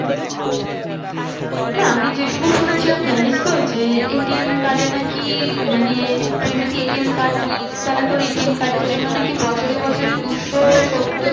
না আমি যেটুকু শুনেছিলাম জানিস তো যে ATM card এ নাকি মানে তুই যদি ATM card নিস তাহলে তোর ATM card এর জন্য নাকি বছরে বছরে দুশো সত্তর